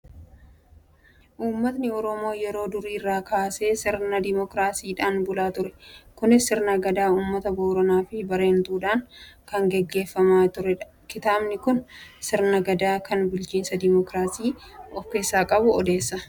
Uummatni Oromoo yeroo durii irraa kaasee sirna Dimookiraasiidhaan bulaa ture. Kunis sirna Gadaa uummata Booranaa fi Baarentuudhaan kan gaggeeffamaa turedha. Kitaabni kun sirna Gadaa kan bulchiinsa Dimookiraasii of keessaa qabu odeessa.